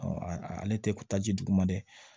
ale tɛ taa ji duguma dɛ